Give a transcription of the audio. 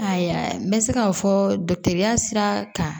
Ayiwa n bɛ se k'a fɔ ya sira kan